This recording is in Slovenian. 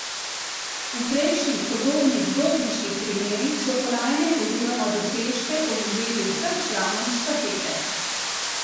V prejšnjih podobnih dopinških primerih so kolajne oziroma dosežke odvzeli vsem članom štafete.